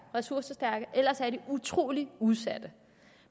ressourcestærke eller også er de utrolig udsatte